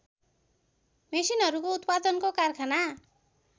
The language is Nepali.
मेसिनहरूको उत्पादनको कारखाना